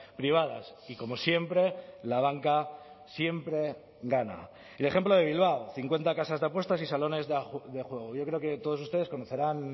privadas y como siempre la banca siempre gana el ejemplo de bilbao cincuenta casas de apuestas y salones de juego yo creo que todos ustedes conocerán